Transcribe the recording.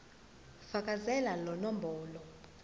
fakazela lo mbono